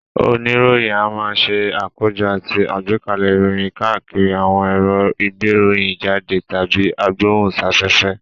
Oníròyìn a máa ṣe àkójọ àti agbẹ́kalẹ̀ ìròyìn káàkiri àwọn èrò ìgbéròyìnjáde tàbí agbóhùnsáfẹ́fẹ́